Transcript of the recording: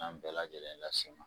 N'an bɛɛ lajɛlen las'i ma.